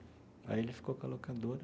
Aí ele ficou com a locadora.